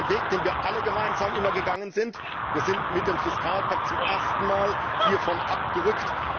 Das war ein Weg, den wir alle immer gemeinsam gegangen sind. Wir sind mit dem Fiskalpakt zum ersten Mal hiervon abgerückt.